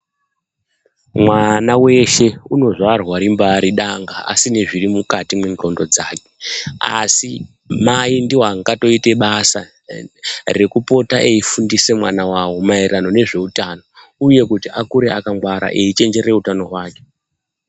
Mwana weshe unozvarwa rimbari danga, asine zviri mwukati mwenxondo dzake, asi mai ndiwo wangatoite basa, rekupota eifundise maererano nezveutano uye kuti akure akangwara eyichenjerere utano hwake.